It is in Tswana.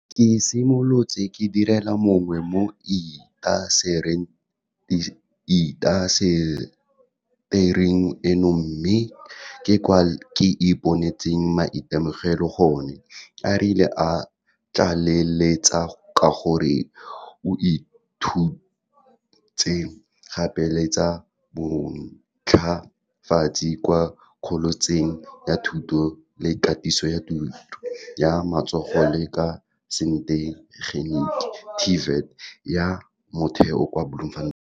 Ke simolotse ke direla mongwe mo intasetering eno mme ke kwa ke iponetseng maitemogelo gone, a rialo, a tlaleletsa ka gore o ithutetse gape le tsa bontlafatsi kwa kholetšheng ya thuto le katiso ya tiro ya matsogo le ya setegeniki TVET ya Motheo kwa Bloemfontein.